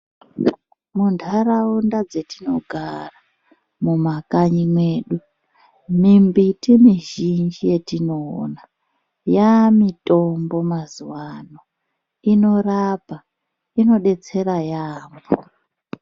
Mu ndaraunda dzatino gara mu makanyi mwedu mimbiti mizhinji yatinoona ya mitombo mazuvano inorapa ino detsera yambo.